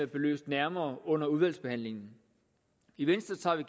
belyst nærmere under udvalgsbehandlingen i venstre